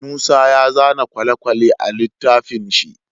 Musa ya zana kwale kwale a litafin shi